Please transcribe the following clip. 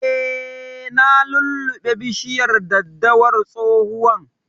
Eh, na lulluɓe bishiyar daddawar tsohuwan